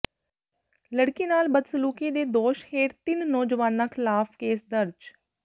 ਲਡ਼ਕੀ ਨਾਲ ਬਦਸਲੂਕੀ ਦੇ ਦੋਸ਼ ਹੇਠ ਤਿੰਨ ਨੌਜਵਾਨਾਂ ਖ਼ਿਲਾਫ਼ ਕੇਸ ਦਰਜ